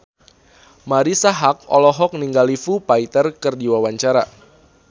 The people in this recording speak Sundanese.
Marisa Haque olohok ningali Foo Fighter keur diwawancara